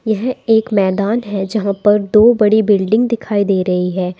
यह एक मैदान है जहां पर दो बड़ी बिल्डिंग दिखाई दे रही है।